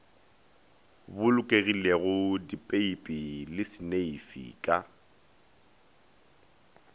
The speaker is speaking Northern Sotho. bolokegilego dipeipi le seneifi ka